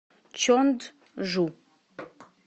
чонджу